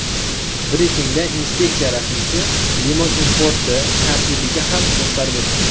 Brifingda inspeksiya rasmiysi limon importi tartibiga ham to‘xtalib o‘tdi.